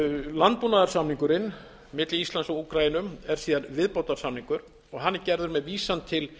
landbúnaðarsamningurinn milli íslands og úkraínu er síðan viðbótarsamningur hann er gerður með vísan til